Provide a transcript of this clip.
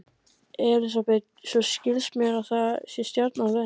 Elísabet: Svo skilst mér að það sé stjarna á leiðinni?